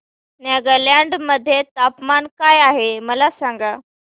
नागालँड मध्ये तापमान काय आहे मला सांगा